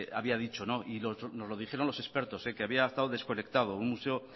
había dicho nos lo dijeron los expertos que había estado desconectado un museo